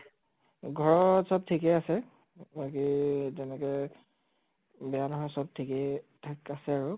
ঘৰত চব ঠিকেই আছে । বাকী তেনেকে বেয়া নহয় চব ঠিকেই ঠাক আছে আৰু